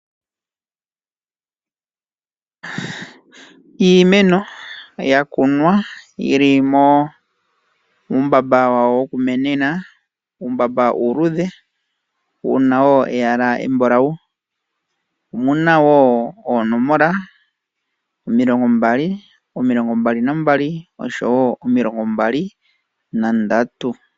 Iimeno yakunwa yili muumbamba wayo wokumenena, uumbamba uuluudhe wuna woo eyala embulawu omuna woo oonomola omilongo mbali, omilongo mbali nambali oshowo omilongo mbali nandatu.